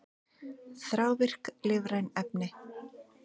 Þrávirk lífræn efni